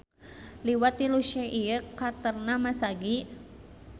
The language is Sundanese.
Liwat tilu Syekh ieu karakterna masagi.